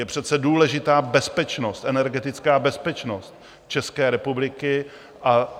Je přece důležitá bezpečnost, energetická bezpečnost České republiky.